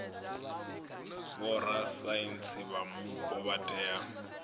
vhorasaintsi vha mupo vha tea